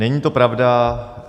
Není to pravda.